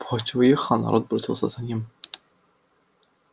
пугачёв уехал народ бросился за ним